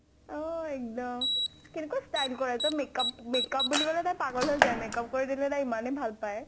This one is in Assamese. অহ এক্দম। কেনেকুৱা style কৰে makeup makeup বুলি কলে তাই পাগল হৈ যায়। makeup কৰি দিলে তাই ইমানে ভাল পায়।